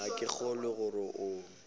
ga ke kgolwe gore o